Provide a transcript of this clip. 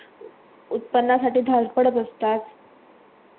उत्पन्नासाठी धावपळ बसतात .